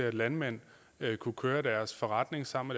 at landmænd kunne køre deres forretning sammen